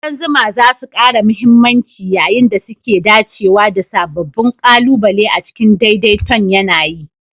ƙudan zuma za su ƙara mahimmanci yayin da suke dacewa da sababbin ƙalubale a cikin daidai ton yAna yi